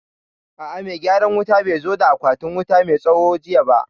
A'a, mai gyaran wutan bai zo da akwatin wuta mai tsawo jiya ba